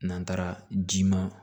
N'an taara ji ma